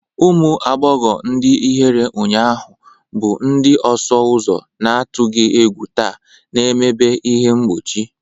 Ụmụ agbọghọ ndị ihere ụnyaahụ bụ ndị ọsụ ụzọ na-atụghị egwu taa, na-emebi ihe mgbochi.